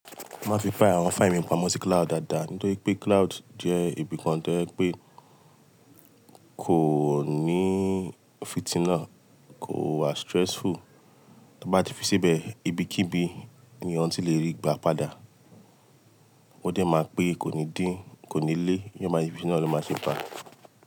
Má fi pá àwọn fáìlì mi pamọ́ sí cloud dáadáa, nítorí pé cloud jẹ́ ibìkan tẹ́ pẹ́ kò ní fitinà, kò wà stressful. To bá ti fi síbẹ̀, ibikíbi ni e èyàn ti lè ríi gba padà. Ó jẹ máa pẹ́ kò ní dín, kò ní lé, iyán máa ti fi sí, iná ló máa ṣe fàá.